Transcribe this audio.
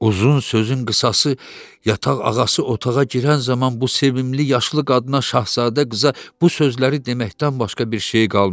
Uzun sözün qısası yataq ağası otağa girən zaman bu sevimli yaşlı qadına, şahzadə qıza bu sözləri deməkdən başqa bir şey qalmadı.